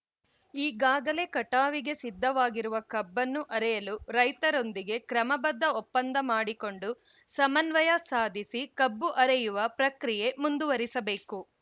ಈಗಾಗಲೇ ಕಟಾವಿಗೆ ಸಿದ್ಧವಿರುವ ಕಬ್ಬನ್ನು ಅರೆಯಲು ರೈತರೊಂದಿಗೆ ಕ್ರಮಬದ್ಧ ಒಪ್ಪಂದ ಮಾಡಿಕೊಂಡು ಸಮನ್ವಯ ಸಾಧಿಸಿ ಕಬ್ಬು ಅರೆಯುವ ಪ್ರಕ್ರಿಯೆ ಮುಂದುವರಿಸಬೇಕು